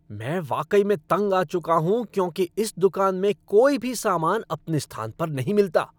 मैं वाकई में तंग आ चुका हूँ क्योंकि इस दुकान में कोई भी सामान अपने स्थान पर नहीं मिलता।